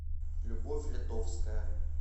любовь ледовская